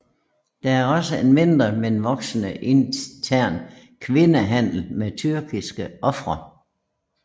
Der er også en mindre men voksende intern kvindehandel med tyrkiske ofre